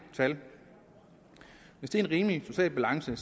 tal hvis det er en rimelig social balance